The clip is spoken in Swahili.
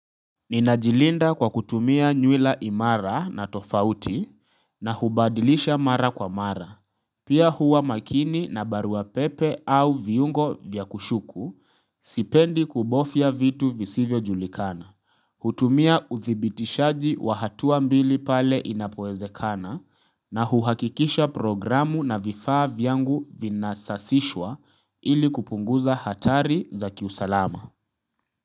Ninajilinda kwa kutumia nywila imara na tofauti na hubadilisha mara kwa mara. Pia huwa makini na baruapepe au viungo vyakushuku sipendi kubofya vitu visivyo julikana. Hutumia uthibitishaji wahatua mbili pale inapoeze kana na huhakikisha programu na vifaa vyangu vinasasishwa ili kupunguza hatari za kiusalama.